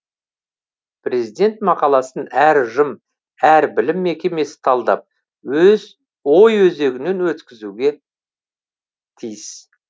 президент мақаласын әр ұжым әр білім мекемесі талдап ой өзегінен өткізуге тиіс